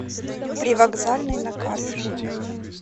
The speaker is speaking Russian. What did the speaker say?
привокзальный на карте